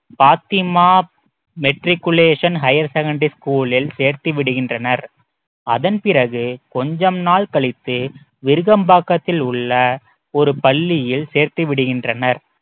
Fathima matriculation higher secondary school லில் சேர்த்து விடுகின்றனர் அதன் பிறகு கொஞ்சம் நாள் கழித்து விருகம்பாக்கத்தில் உள்ள ஒரு பள்ளியில் சேர்த்து விடுகின்றனர்